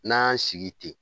N'an y'an sigi ten